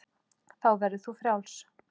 Þá verður þú frjáls.